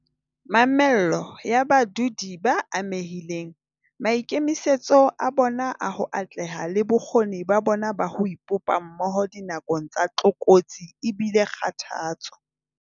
Mamello ya badudi ba amehileng, maikemisetso a bona a ho atleha le bokgoni ba bona ba ho ipopa mmoho dinakong tsa tlokotsi e bile kgothatso.